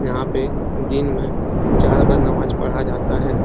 यहाँ पे दिन में चार बार नमाज पढ़ा जाता है।